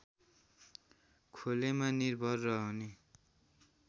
खोलेमा निर्भर रहने